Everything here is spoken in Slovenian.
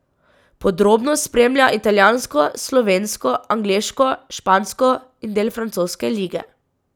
Podrobno spremlja italijansko, slovensko, angleško, špansko in del francoske lige.